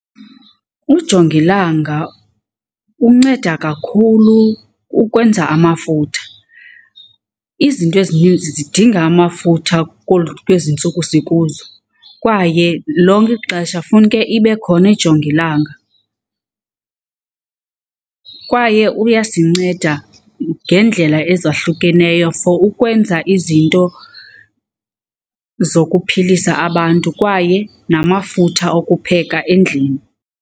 Ujongilanga unceda kakhulu ukwenza amafutha. Izinto ezininzi zidinga amafutha kwezi ntsuku sikuzo kwaye lonke ixesha funeke ibe khona ijongilanga. Kwaye uyasinceda ngeendlela ezahlukeneyo for ukwenza izinto zokuphilisa abantu kwaye namafutha okupheka endlini.